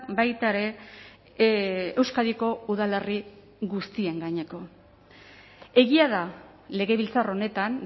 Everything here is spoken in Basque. baita ere euskadiko udalerri guztien gaineko egia da legebiltzar honetan